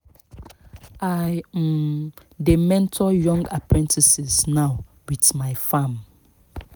i um dey mentor young apprentices now with my farm